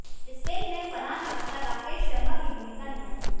इस फिल्म में फरहान अख्तर राकेश शर्मा की भूमिका निभाएंगे